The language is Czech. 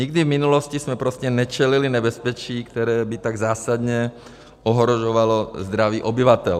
Nikdy v minulosti jsme prostě nečelili nebezpečí, které by tak zásadně ohrožovalo zdraví obyvatel.